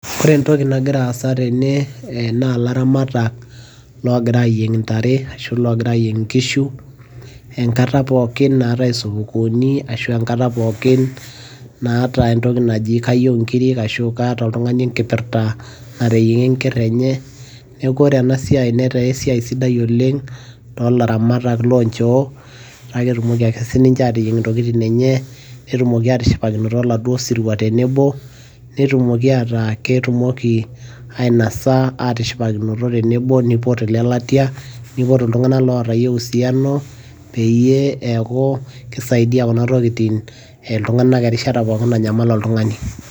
ore entoki nagira aasa tene naa ilaramatak loogira aayieng' intare ashu loogira aayieng inkishu enkata naatae sukukuuni, ashu enkata pookin naata entoki naji kayieu inkiri, ashu kaata oltungani enkipirta ,nateyiang'a enker enye. neeku ore ena siai netaa esiai sidai oleng toolaramatak loo nchoo, kake etumoki ake sii ninche aateyieng intokitin enye. netumoki aatishipakinoto oladuoo sirua tenebo. netumoki ataa ketumoki, ainasa aatishipakinoto tenebo, nipot ilelatia neipot iltunganak ootayie usiano, peyie eeku kisaidia kuna tokitin iltunganak erishata pookin nanyamal oltungani.